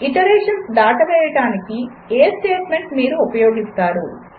iterations దాటవేయడానికి ఏ statement మీరు ఉపయోగిస్తారు